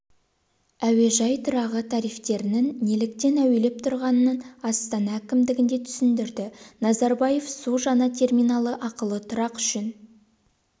әуежай тұрағы тарифтерінің неліктен әуелеп тұрғанын астана әкімдігінде түсіндірді назарбаев су жаңа терминалы ақылы тұрақ үшін